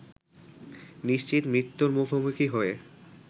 নিশ্চিত মৃত্যুর মুখোমুখি হয়ে